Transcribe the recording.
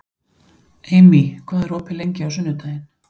Amy, hvað er opið lengi á sunnudaginn?